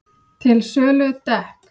Til sölu dekk